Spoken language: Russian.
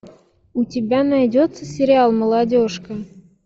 у тебя найдется сериал молодежка